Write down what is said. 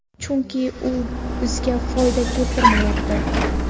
Chunki, u bizga foyda keltiryapti.